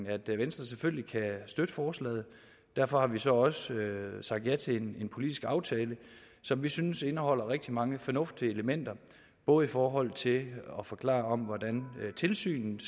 at venstre selvfølgelig kan støtte forslaget og derfor har vi så også sagt ja til en politisk aftale som vi synes indeholder rigtig mange fornuftige elementer både i forhold til at forklare hvordan tilsynet